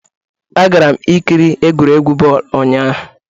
Agara m ikiri egwuregwu bọọlụ ụnyahụ'